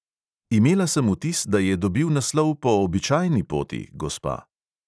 Imela sem vtis, da je dobil naslov po običajni poti, gospa.